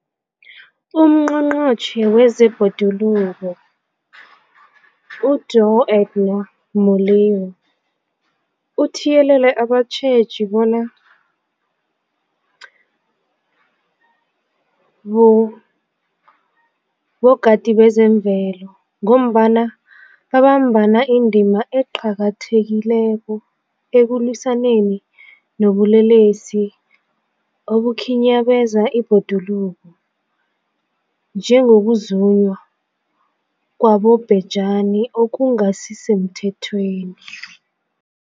UNgqongqotjhe wezeBhoduluko uDorh Edna Molewa uthiyelele abatjheji bona bogadi bezemvelo, ngombana babamba indima eqakathekileko ekulwisaneni nobulelesi obukhinyabeza ibhoduluko, njengokuzunywa kwabobhejani okungasisemthethweni.